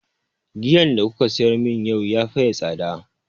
Giyan da kuka siyar mun yau ya faye tsada